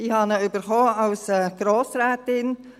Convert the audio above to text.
Ich habe ihn erhalten als Grossrätin.